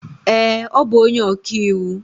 ee, ọ bụ onye ọka iwu.